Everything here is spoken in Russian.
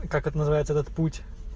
как это называется этот путь